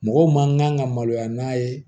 Mɔgɔ man kan ka maloya n'a ye